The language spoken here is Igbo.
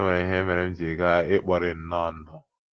E nwere ihe mere m ji gaa — ikpori nnọọ ndụ.